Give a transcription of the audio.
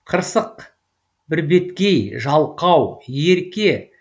қырсық бірбеткей жалқау ерке